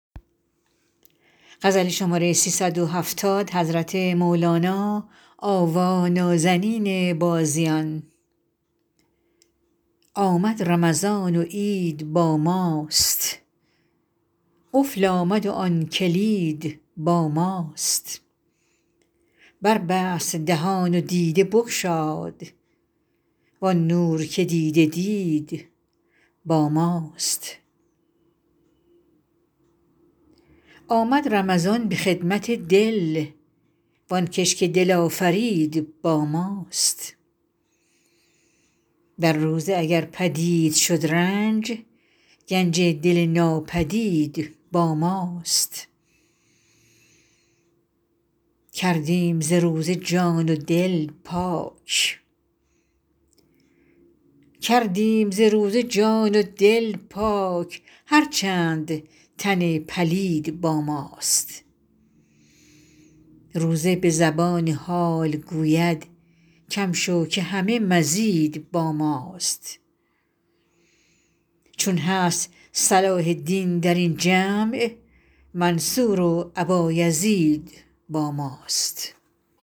آمد رمضان و عید با ماست قفل آمد و آن کلید با ماست بربست دهان و دیده بگشاد وان نور که دیده دید با ماست آمد رمضان به خدمت دل وان کش که دل آفرید با ماست در روزه اگر پدید شد رنج گنج دل ناپدید با ماست کردیم ز روزه جان و دل پاک هر چند تن پلید با ماست روزه به زبان حال گوید کم شو که همه مزید با ماست چون هست صلاح دین در این جمع منصور و ابایزید با ماست